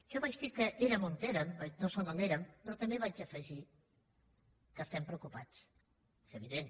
jo vaig dir que érem on érem o som on érem però també vaig afegir que estem preocupats és evident